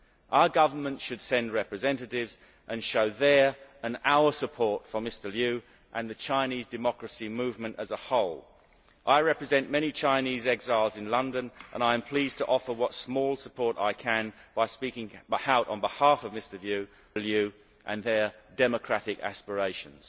Our governments should send representatives and show their and our support for Mr Liu and the Chinese democracy movement as a whole. I represent many Chinese exiles in London and I am pleased to offer what small support I can by speaking out on behalf of Mr Liu and their democratic aspirations.